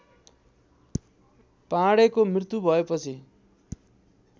पाँडेको मृत्यु भएपछि